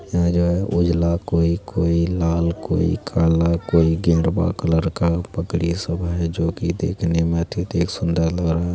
यहाँ जो है उजला कोई-कोई लाल कोई काला कोई गेरुआ कलर का बकरी सब है जो की देखने में बहुत ही सुंदर लग रहा है।